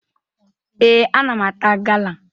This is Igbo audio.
Ee, ana m ata gala